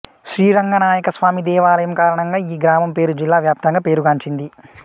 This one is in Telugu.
శ్రీరంగనాయక స్వామి దేవాలయం కారణంగా ఈ గ్రామం పేరు జిల్లా వ్యాప్తంగా పేరుగాంచింది